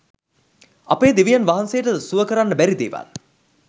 අපේ දෙවියන් වහන්සේට සුව කරන්න බැරි දේවල්